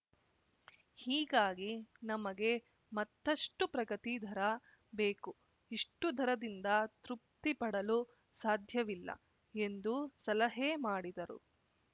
ಹೀಗಾಗಿ ನಮಗೆ ಮತ್ತಷ್ಟುಪ್ರಗತಿ ದರ ಬೇಕು ಇಷ್ಟುದರದಿಂದ ತೃಪ್ತಿ ಪಡಲು ಸಾಧ್ಯವಿಲ್ಲ ಎಂದು ಸಲಹೆ ಮಾಡಿದರು